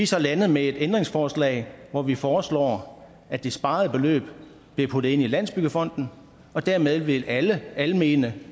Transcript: så landet med et ændringsforslag hvori vi foreslår at det sparede beløb bliver puttet ind i landsbyggefonden og dermed ville alle almene